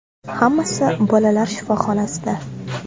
Hammasi bolalar shifoxonasida.